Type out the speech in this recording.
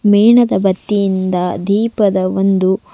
ಮೇಣದ ಬತ್ತಿಯಿಂದ ದೀಪದ ಒಂದು--